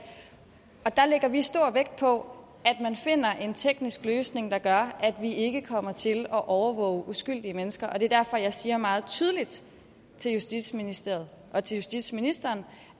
der lægger vi stor vægt på at man finder en teknisk løsning der gør at vi ikke kommer til at overvåge uskyldige mennesker det er derfor jeg siger meget tydeligt til justitsministeriet og til justitsministeren